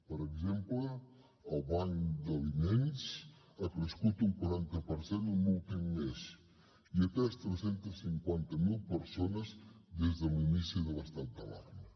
per exemple el banc d’aliments ha crescut un quaranta per cent en l’últim mes i ha atès tres cents i cinquanta miler persones des de l’inici de l’estat d’alarma